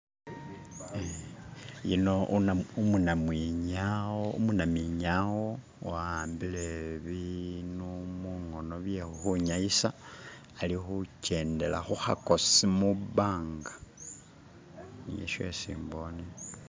yuno umunamwinyawo wawambile binu mungono byekhukhwinyayisa alihukyendela khuhakosi mubanga niyo shesi mbone